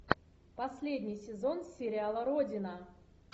последний сезон сериала родина